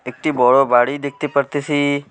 একটি বড় বাড়ি দেখতে পারতেসি।